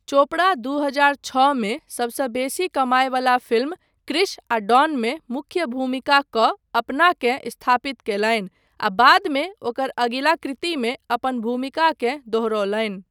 चोपड़ा दू हजार छओमे सबसँ बेसी कमायवला फिल्म कृष आ डॉन मे मूख्य भूमिका कऽ अपनाकेँ स्थापित कयलनि, आ बादमे ओकर अगिला कृतिमे अपन भूमिकाकेँ दोहरौलनि।